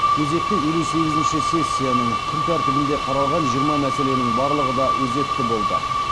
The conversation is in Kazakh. кезекті елу сегізінші сессияның күн тәртібінде қаралған жиырма мәселенің барлығы да өзекті болды